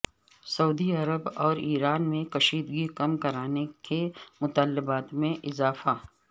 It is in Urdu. سعودی عرب اور ایران میں کشیدگی کم کرانے کے مطالبات میں اضافہ